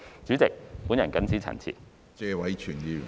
主席，我謹此陳辭。